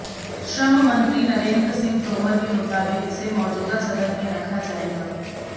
श्रम मंत्री नरेन्द्र सिंह तोमर के मुताबिक इसे मौजूदा सदन में रखा जाएगा